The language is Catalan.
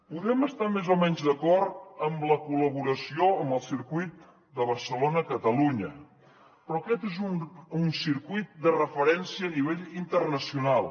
podem estar més o menys d’acord en la col·laboració amb el circuit de barcelona catalunya però aquest és un circuit de referència a nivell internacional